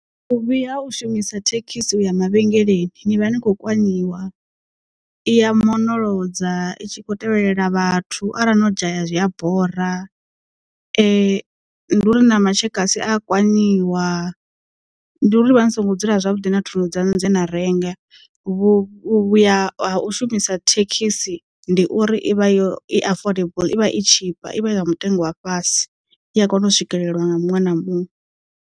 Vhuvhi ha u shumisa thekhisi u ya mavhengeleni ni vha ni kho kwanyiwa, iya monolodza itshi kho tevhelela vhathu arali no dzhaya zwi a bora nduri na matshekasi a ya kwanyiwa nduri ni vha ni songo dzula zwavhuḓi na thundu dzaṋu dze na renga vhuvhuya ha u shumisa thekhisi ndi uri ivha yo i affordable ivha i tshipa i vha i ya mutengo wa fhasi i a kona u swikelelwa nga muṅwe na muṅwe.